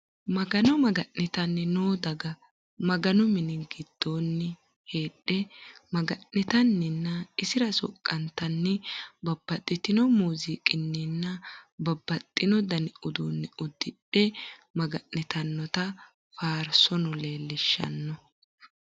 Magano maga'nitanni noo daga, maganu mini gidoonni heedhe maga'nitanninna issira soqantanni babaxinno muuzziiqininna babaxino dani uduu'ne udidhe maganitanotta faarisaano leellishano